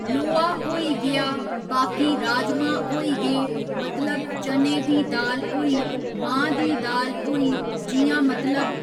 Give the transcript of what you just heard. लोहा होई गेआ बाकी राजमां होई गे मतलब चने दी दाल होई मांह् दी दाल होई जि'यां मतलब